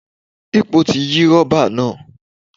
Epo ti yí rọ́bà náà.